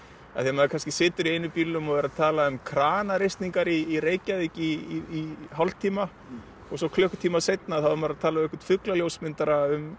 maður kannski situr í einum bílnum og talar um kranareisningar í Reykjavík í hálftíma og svo klukkutíma seinna er maður að tala við fugla ljósmyndara um